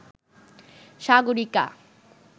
Sagarika